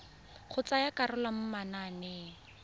go tsaya karolo mo mananeng